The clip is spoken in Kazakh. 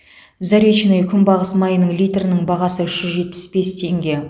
заречное күнбағыс майының литрінің бағасы үш жүз жетпіс бес теңге